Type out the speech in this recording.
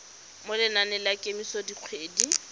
mo lenaneng la kemiso dikgwedi